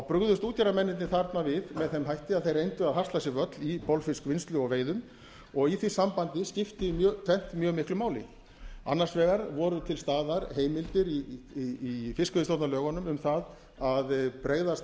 brugðust útgerðarmennirnir þarna við með þeim hætti að þeir reyndu að hasla sér völl í bolfiskvinnslu og veiðum og í því sambandi skipti tvennt mjög miklu máli annars vegar voru til staðar heimildir í fiskveiðistjórnarlögunum um það að bregðast